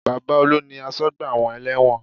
Baba Olu ni asọ́gbà àwọn ẹlẹ́wọ̀n